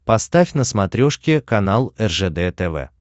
поставь на смотрешке канал ржд тв